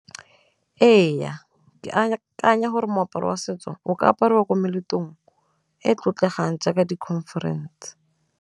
Ee, ke akanya gore moaparo wa setso o ka apariwa ko meletlong e e tlotlegang jaaka di-conference.